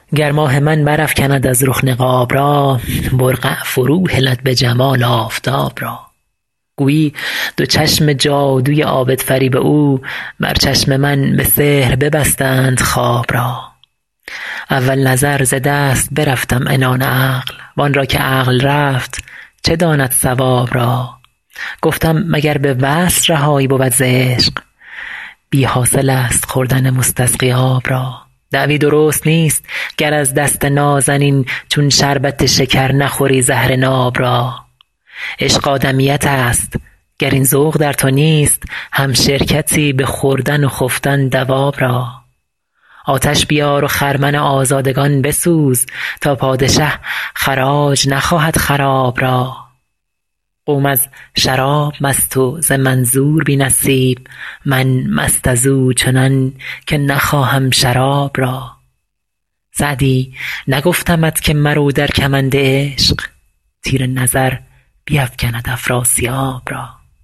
گر ماه من برافکند از رخ نقاب را برقع فروهلد به جمال آفتاب را گویی دو چشم جادوی عابدفریب او بر چشم من به سحر ببستند خواب را اول نظر ز دست برفتم عنان عقل وان را که عقل رفت چه داند صواب را گفتم مگر به وصل رهایی بود ز عشق بی حاصل است خوردن مستسقی آب را دعوی درست نیست گر از دست نازنین چون شربت شکر نخوری زهر ناب را عشق آدمیت است گر این ذوق در تو نیست همشرکتی به خوردن و خفتن دواب را آتش بیار و خرمن آزادگان بسوز تا پادشه خراج نخواهد خراب را قوم از شراب مست و ز منظور بی نصیب من مست از او چنان که نخواهم شراب را سعدی نگفتمت که مرو در کمند عشق تیر نظر بیفکند افراسیاب را